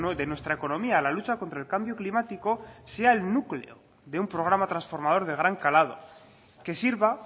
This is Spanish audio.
de nuestra economía a la lucha contra el cambio climático sea el núcleo de un programa transformador de gran calado que sirva